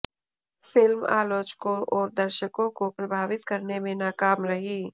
film आलोचकों और दर्शकों को प्रभावित करने में नाकाम रही